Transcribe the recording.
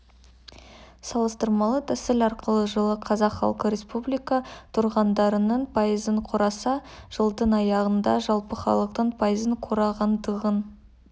салыстырмалы тәсіл арқылы жылы қазақ халқы республика тұрғындарының пайызын құраса жылдың аяғында жалпы халықтың пайызын құрағандығын